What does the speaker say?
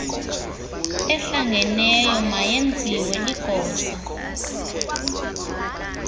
ehlangeneyo mayenziwe ligosa